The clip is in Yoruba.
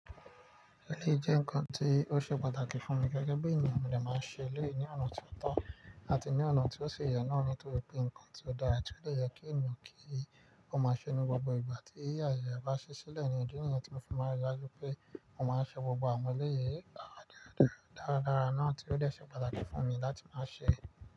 Eleyi jẹ́ nǹkan tí ó ṣe pàtàkì fún mi gẹ́gẹ́ bí ènìyàn mi dè máa n ṣe eleyi ní ọ̀nà tí ó tọ́ àti ní ọ̀nà tí ó ṣi yẹ náà, nítorí pé nǹkan tí ó dára ti o de yẹ kí ènìyàn kí ó máa ṣe ní gbogbo ìgbà tí ayẹ ẹ bá ṣí sílẹ̀ ní idi niyen tí mo fi máa rí i dájú pé ó máa ń ṣe gbogbo àwọn eleyìí dáradára dáradára náà tí ó dè ṣe pàtàkì fún mi láti máa ṣe.